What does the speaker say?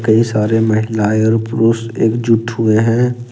कई सारे महिलाएं और पुरुष एक जुट हुए हैं।